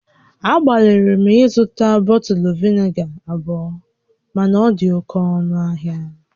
Agbalịrị m ịzụta bọtụlụ vinega abụọ mana ọ dị oke ọnụ ahia